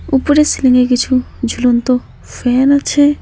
উপরে সিলিং এ কিছু ঝুলন্ত ফ্যান আছে।